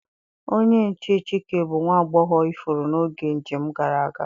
Onye nche Chike bu nwa agbọghọ ifuru n'oge njem gara aga.